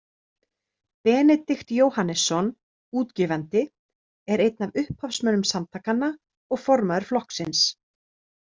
Benedikt Jóhannesson, útgefandi, er einn af upphafsmönnum samtakanna og formaður flokksins.